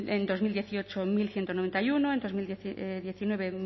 en dos mil dieciocho mil ciento noventa y uno en dos mil diecinueve